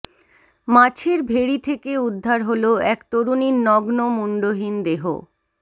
মাছের ভেড়ি থেকে উদ্ধার হল এক তরুণীর নগ্ন মুণ্ডহীন দেহ